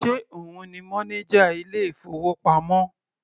Ṣe òun ni mọ́néjà ilé ìfowópamọ́?